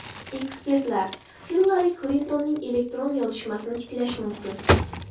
Ekspertlar: Hillari Klintonning elektron yozishmasini tiklash mumkin .